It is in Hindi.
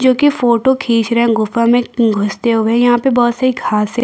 जो की फोटो खिंच रहे है गुफा मे घुसते हुए यहाँ पे बोहोत सारी घासे --